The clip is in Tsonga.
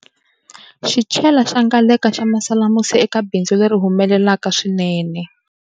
Xichela xa Ngaleka xa masalamusi eka bindzu leri humelelaka swinene.